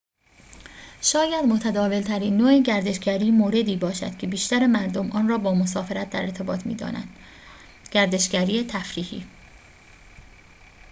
شاید متداول‌ترین نوع گردشگری موردی باشد که بیشتر مردم آن را با مسافرت در ارتباط می‌دانند گردشگری تفریحی